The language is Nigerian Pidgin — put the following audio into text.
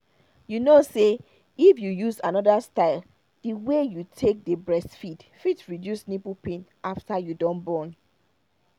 you kow say if you use anoda style the way you take dey breastfeed fit reduce nipple pain after you don born